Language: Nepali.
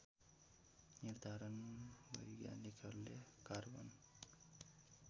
निर्धारण वैज्ञानिकहरुले कार्बन